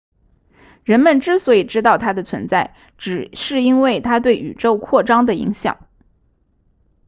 人们之所以知道它的存在只是因为它对宇宙扩张的影响